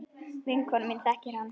Vinkona mín þekkir hann.